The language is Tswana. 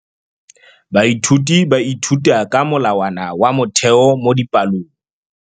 Baithuti ba ithuta ka molawana wa motheo mo dipalong.